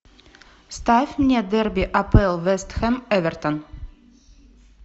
ставь мне дерби апл вест хэм эвертон